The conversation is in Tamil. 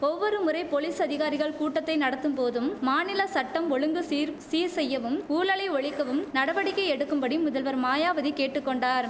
ஒவ்வொரு முறை போலீஸ் அதிகாரிகள் கூட்டத்தை நடத்தும் போதும் மாநில சட்டம் ஒழுங்கு சீர் சீர் செய்யவும் ஊழலை ஒழிக்கவும் நடவடிக்கை எடுக்கும்படி முதல்வர் மாயாவதி கேட்டு கொண்டார்